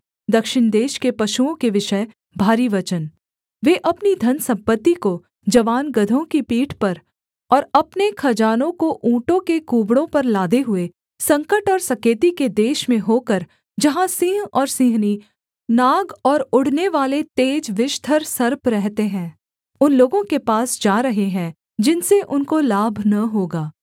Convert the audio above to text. दक्षिण देश के पशुओं के विषय भारी वचन वे अपनी धनसम्पत्ति को जवान गदहों की पीठ पर और अपने खजानों को ऊँटों के कूबड़ों पर लादे हुए संकट और सकेती के देश में होकर जहाँ सिंह और सिंहनी नाग और उड़नेवाले तेज विषधर सर्प रहते हैं उन लोगों के पास जा रहे हैं जिनसे उनको लाभ न होगा